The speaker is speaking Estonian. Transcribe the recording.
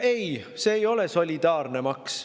Ei, see ei ole solidaarne maks.